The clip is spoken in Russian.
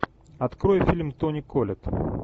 открой фильм тони коллетт